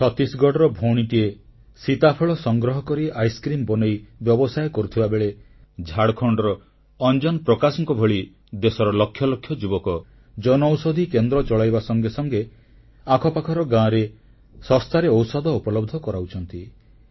ଛତିଶଗଡ଼ର ଭଉଣୀଟିଏ ସୀତାଫଳ ସଂଗ୍ରହ କରି ଆଇସକ୍ରିମ ବନେଇ ବ୍ୟବସାୟ କରୁଥିବାବେଳେ ଝାଡ଼ଖଣ୍ଡର ଅଞ୍ଜନ ପ୍ରକାଶଙ୍କ ଭଳି ଦେଶର ଲକ୍ଷ ଲକ୍ଷ ଯୁବକ ଜନଔଷଧି କେନ୍ଦ୍ର ଚଳାଇବା ସଙ୍ଗେ ସଙ୍ଗେ ଆଖପାଖର ଗାଁରେ ଶସ୍ତାରେ ଔଷଧ ଉପଲବ୍ଧ କରାଉଛନ୍ତି